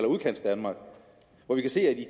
udkantsdanmark